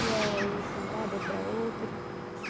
E era ele para um lado e eu para outro.